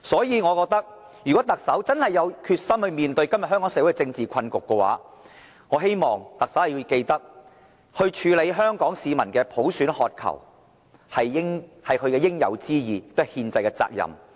因此，如果特首真的有決心面對今天香港社會的政治困局，我希望特首處理香港市民對普選的渴求，這是她應有之義，也是其憲制責任。